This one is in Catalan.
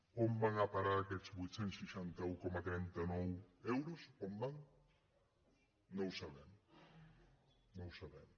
on van a parar aquests vuit cents i seixanta un coma trenta nou euros on van no ho sabem no ho sabem